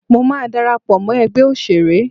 Mọ máa darapọ̀ mọ́ ẹgbẹ́ òṣèré.